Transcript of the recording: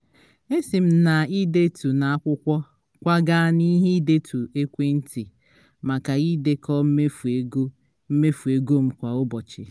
esi m na idetu na-akwụkwọ kwaga n'ihe ndetu ekwentị maka idekọ mmefu ego mmefu ego m kwa ụbọchị